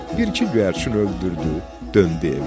Bir-iki göyərçin öldürdü, döndü evinə.